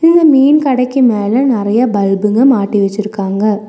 இந்த மீன் கடைக்கு மேல நறைய பல்புங்க மாட்டி வெச்சிருக்காங்க.